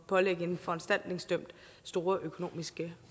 pålægge en foranstaltningsdømt store økonomiske